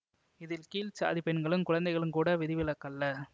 இதில் கீழ் சாதி பெண்களும் குழந்தைகளும் கூட விதிவிலக்கல்ல